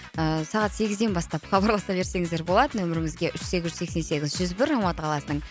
ыыы сағат сегізден бастап хабарласа берсеңіздер болады нөмірімізге үш сегіз жүз сексен сегіз жүз бір алматы қаласының